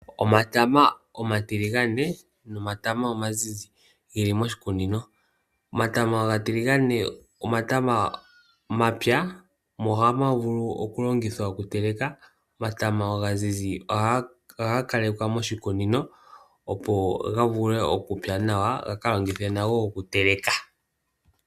Omatama omatiligane nomatama omazizi ge li moshikunino. Omatama omatiligane omatama ga pya nohaga vulu okulongithwa okuteleka, omatama omazizi ohaga kalekwa moshikunino, opo ga vule okupya nawa ga ka longithwe nago okuteleka.